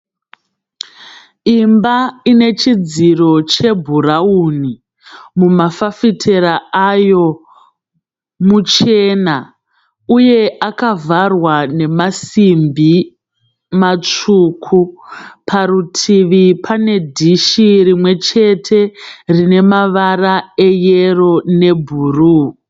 Imba ine chidziro chebhurauni. Mumafafitera ayo muchena uye akavhara nemasimbi matsvuku. Parutivi pane dishi rimwe chete rine mavara eyero nebhuru.